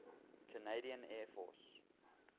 canadian air force